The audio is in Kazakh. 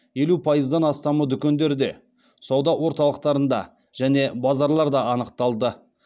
елу пайыздан астамы дүкендерде сауда орталықтарында және базарларда анықталды